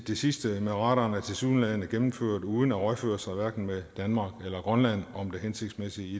sidste med radaren er tilsyneladende gennemført uden at rådføre sig hverken med danmark eller grønland om det hensigtsmæssige i